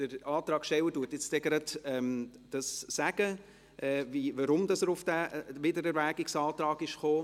Der Antragsteller wird jetzt gleich sagen, weshalb er auf diesen Wiedererwägungsantrag kam.